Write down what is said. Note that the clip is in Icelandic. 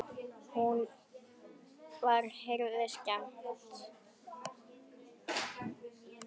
Þá var Herði skemmt.